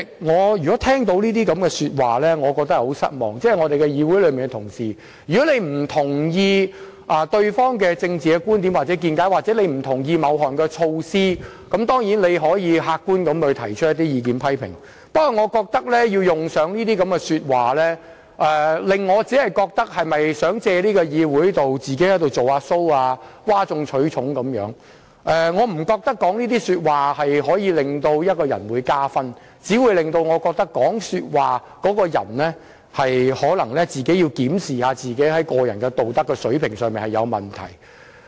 我對這些說話感到很失望，議員同事不認同對方的政治觀點或某項措施，可以客觀地提出意見和批評，但用上這類說話只會令我覺得他們是否想藉議會"做個人 show"， 譁眾取寵，因為我並不覺得說這些話可以為一個人加分，只會令我覺得這個人應檢視個人道德水平是否有問題。